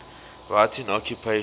writing occupations